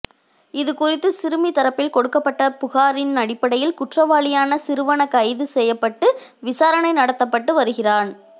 இதுகுறித்து சிறுமி தரப்பில் கொடுக்கப்பட்ட புகாரின் அடிப்படையில் குற்றவாளியான சிறுவன கைது செய்யப்பட்டு விசாரணை நடத்தபப்ட்டு வருகிறான்